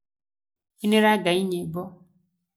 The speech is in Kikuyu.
Inĩrai Ngai nyĩmbo.